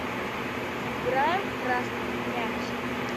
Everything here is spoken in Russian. сыграем в красный мяч